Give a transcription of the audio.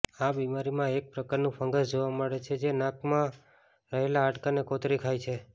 આ બીમારીમાં એક પ્રકારનું ફંગસ જોવા મળે છે જે નાકમાં રહેલા હાડકાને કોતરી ખાય છે